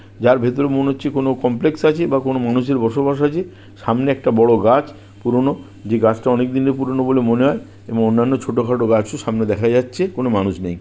যার ভেতরে মনে হচ্ছে কোনো কমপ্লেক্স আছে বা কোনো মানুষের বসবাস আছে সামনে একটা বড়ো গাছ পুরোনো যেই গাছটা অনেক দিনের পুরোনো বলে মনে হয় এবং অন্যান্য ছোটো খাটো গাছ ও সামনে দেখা যাচ্ছে কোনো মানুষ নেই ।